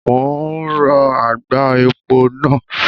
Mo ń rọ àgbá epo náà.